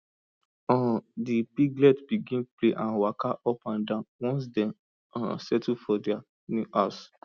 um the piglets begin play and waka up and down once dem um settle for their new house